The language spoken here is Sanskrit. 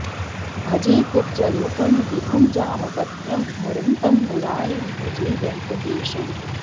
भजे कुब्जरूपं विभुं जामदग्न्यं धरन्तं मुरारिं भजे वेङ्कटेशम्